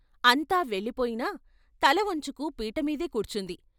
అంతా వెళ్ళిపోయినా తల వంచుకు పీటమీదే కూర్చుంది.